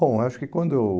Bom, acho que quando eu...